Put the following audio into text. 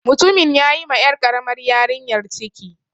Mutumin ya yi ma 'yar ƙaramar yarinyar ciki.